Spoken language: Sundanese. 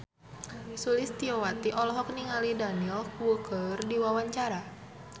Sulistyowati olohok ningali Daniel Wu keur diwawancara